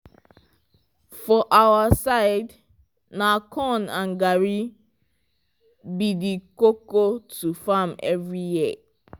for our side na corn and garri be the koko to farm every year